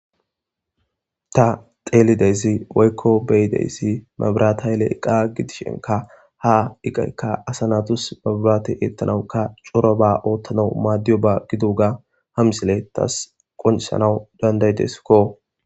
ta xeelideysi woykko beyideyssi mabiratayle iqa gidishenka ha iqaykka asa natus mabirate eettanawuka coro ba oottanau maaddiyo ba giduuga hamsiley tas qoncisanawu dandaydeskko